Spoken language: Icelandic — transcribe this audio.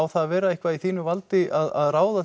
það að vera eitthvað í þínu valdi að ráða